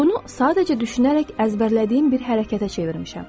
Bunu sadəcə düşünərək əzbərlədiyim bir hərəkətə çevirmişəm.